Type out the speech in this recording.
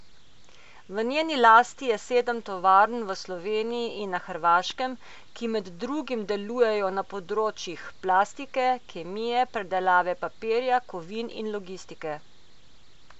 V njeni lasti je sedem tovarn v Sloveniji in na Hrvaškem, ki med drugim delujejo na področjih plastike, kemije, predelave papirja, kovin in logistike.